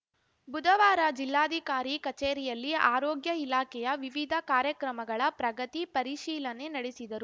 ಬುಧವಾರ ಜಿಲ್ಲಾಧಿಕಾರಿ ಕಚೇರಿಯಲ್ಲಿ ಆರೋಗ್ಯ ಇಲಾಖೆಯ ವಿವಿಧ ಕಾರ್ಯಕ್ರಮಗಳ ಪ್ರಗತಿ ಪರಿಶೀಲನೆ ನಡೆಸಿದರು